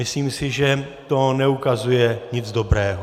Myslím si, že to neukazuje nic dobrého.